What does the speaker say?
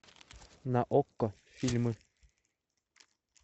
на окко фильмы